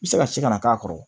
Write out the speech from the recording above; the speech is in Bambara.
I bɛ se ka se ka na k'a kɔrɔ